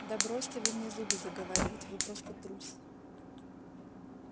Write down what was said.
да бросьте вы мне зубы заговаривать вы просто трус